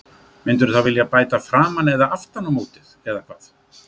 Myndirðu þá vilja bæta framan eða aftan á mótið eða hvað?